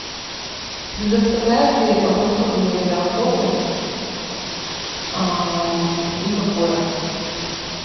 предоставляют ли оборудование для охоты и какое